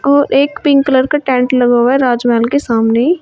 और एक pink colour का टेंट लगा हुआ है राज महल के सामने।